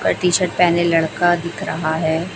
T shirt पेहने लड़का दिख रहा है।